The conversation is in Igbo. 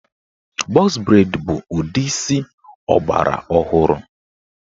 Bọx breid bụ ụdị isi ọgbara ọhụrụ.